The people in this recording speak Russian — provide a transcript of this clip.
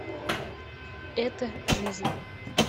это жизнь